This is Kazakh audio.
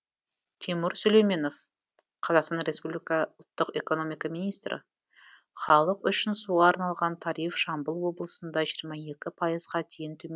тимур сүлейменов қазақстан республика ұлттық экономика министрі халық үшін суға арналған тариф жамбыл облысында жиырма екі пайызға дейін төмен